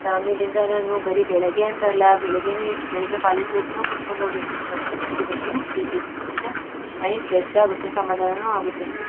ಆಮೇಲಿಂದ ನಾನು ಬರೀ ಬೆಳಗ್ಗೆ ಅಂತಲ್ಲ ಬೆಳಿಗ್ಗೆನು ಎದ್ ಬೆಳಿಗ್ಗೆ ಕಾಲೇಜು ಗೆ ಹೋಗ್ತಾನೂ ಕುಡ್ಕೊಂಡು ಹೋಗಿರ್ತೀನಿ ಮತ್ತೆ ಸಂಜೆ ಬಂದೂನು ಕುಡೀತೀನಿ ಕುಡಿದ್ರೆ ಮೈಂಡ್ ಫ್ರೆಶ್ ಆಗುತ್ತೆ ಸಮಾಧಾನನೂ ಆಗುತ್ತೆ.